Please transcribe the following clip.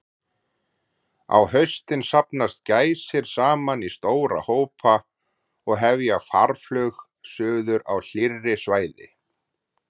Á haustin safnast gæsir saman í stóra hópa og hefja farflug suður á hlýrri svæði.